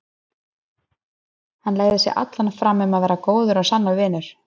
Hann legði sig allan fram um að verða góður og sannur vinur.